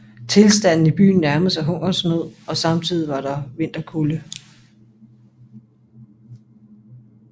Tilstanden i byen nærmede sig hungersnød og samtidig var der vinterkulde